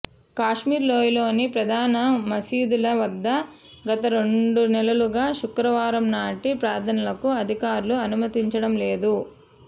కాశ్మీర్లోయలోని ప్రధాన మసీదుల వద్ద గత రెండు నెలలుగా శుక్రవారం నాటి ప్రార్థనలకు అధికారులు అనుమతించడం లేదు